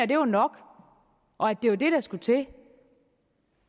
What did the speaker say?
det var nok og at det var det der skulle til